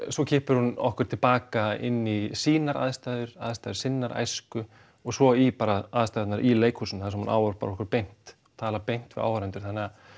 svo kippir hún okkur til baka inn í sínar aðstæður aðstæður sinnar æsku og svo í bara aðstæðurnar í leikhúsinu þar sem hún ávarpar okkur beint talar beint við áhorfendur þannig að